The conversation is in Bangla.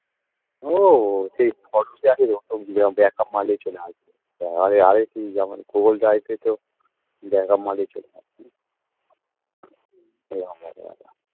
ও সেই photography তে আছে তো back up মারলেই চলে আসবে আরে আরেকি যেমন google drive এই তো back up মারলেই চলে আসবে এরকম ব্যাপার